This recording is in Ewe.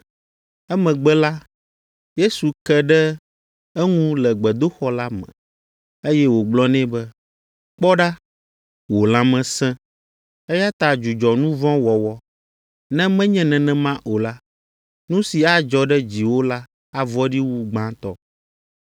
Emegbe la, Yesu ke ɖe eŋu le gbedoxɔ la me, eye wògblɔ nɛ be, “Kpɔ ɖa, wò lãme sẽ, eya ta dzudzɔ nu vɔ̃ wɔwɔ, ne menye nenema o la, nu si adzɔ ɖe dziwò la avɔ̃ɖi wu gbãtɔ.”